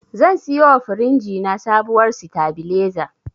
Zan siyowa firinji na sabuwar sitabileza.